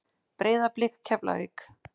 Breiðablik- Keflavík